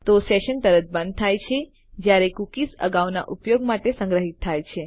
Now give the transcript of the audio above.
તો સેશન તરત બંધ થાય છે જયારે કૂકીઝ અગાઉના ઉપયોગ માટે સંગ્રહિત થાય છે